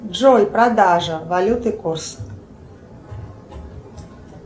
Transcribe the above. джой продажа валюты курс